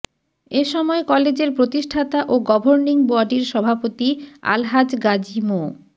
এ সময় কলেজের প্রতিষ্ঠাতা ও গভর্নিং বডির সভাপতি আলহাজ গাজী মো